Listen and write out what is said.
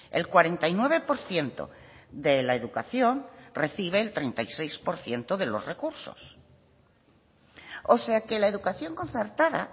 el cuarenta y nueve por ciento de la educación recibe el treinta y seis por ciento de los recursos o sea que la educación concertada